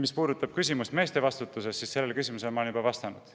Mis puudutab küsimust meeste vastutusest, siis sellele küsimusele ma olen juba vastanud.